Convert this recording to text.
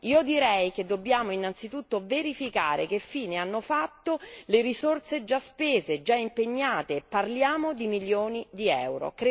Io direi che dobbiamo, innanzitutto, verificare che fine hanno fatto le risorse già spese, già impegnate, parliamo di milioni di euro.